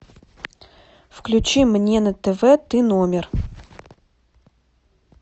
включи мне на тв ты номер